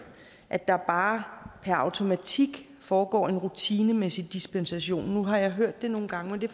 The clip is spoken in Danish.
at der bare per automatik foregår en rutinemæssig dispensation nu har jeg hørt det nogle gange men det